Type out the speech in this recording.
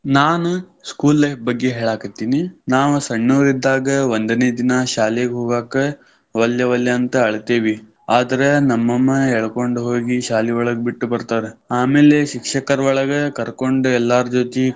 ನಾನ್ school life ಬಗ್ಗೆ ಹೇಳಾಕತ್ತೇನಿ. ನಾ ಸಣ್ಣವಿದ್ದಾಗ ಒಂದನೇ ದಿನಾ ಶಾಲಿಗೆ ಹೋಗಾಕ ವಲ್ಯ ವಲ್ಯಾ ಅಂತ ಅಳತೀವಿ ಅದ್ರ ನಮ್ಮಮ್ಮ ಎಳಕೊಂಡ್ ಹೋಗಿ ಶಾಲಿ ಒಳಗ ಬಿಟ್ಟ ಬರ್ತಾರ. ಆಮೇಲೆ ಶಿಕ್ಷಕರ್ ಒಳಗ ಕರ್ಕೊಂಡ್ ಎಲ್ಲಾರ ಜೊತಿ.